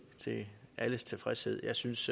til alles tilfredshed jeg synes